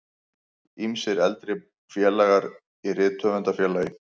Ýmsir eldri félagar í Rithöfundafélagi